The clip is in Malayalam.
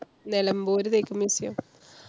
നെലമ്പൂര് തേക്ക് museum.